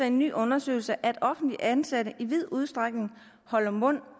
en ny undersøgelse at offentligt ansatte i vid udstrækning holder mund